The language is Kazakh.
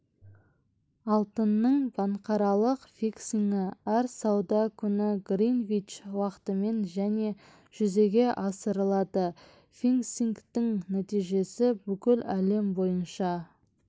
алтынның банкаралық фиксингі әр сауда күні гринвич уақытымен және жүзеге асырылады фиксингтің нәтижесі бүкіл әлем бойынша